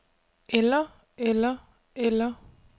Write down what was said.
eller eller eller